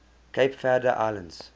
cape verde islands